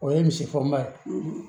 O ye misigoba ye